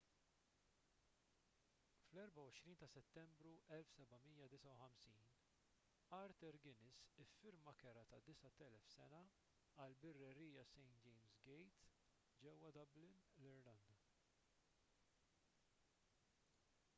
fl-24 ta' settembru 1759 arthur guinness iffirma kera ta' 9,000 sena għall-birrerija st james' gate ġewwa dublin l-irlanda